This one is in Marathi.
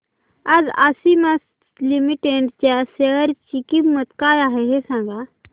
आज आशिमा लिमिटेड च्या शेअर ची किंमत काय आहे हे सांगा